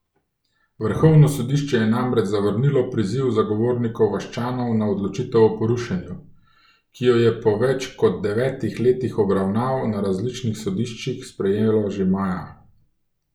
Vrhovno sodišče je namreč zavrnilo priziv zagovornikov vaščanov na odločitev o porušenju, ki jo je po več kot devetih letih obravnav na različnih sodiščih sprejelo že maja.